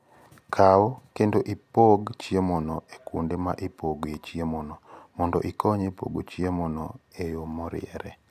Kaw kendo ipog chiemono e kuonde ma ipogoe chiemono, mondo okony e pogo chiemono e yo moriere.